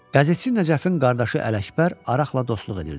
Qəzetçi Nəcəfin qardaşı Ələkbər Araqla dostluq eləyirdi.